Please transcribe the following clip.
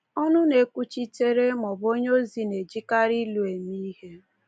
Ọnụ na-ekwuchitere maọbụ onye ozi na-ejikarị ilu eme ihe.